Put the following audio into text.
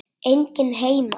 Enginn heima.